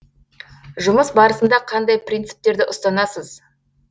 жұмыс барысында қандай принциптерді ұстанасыз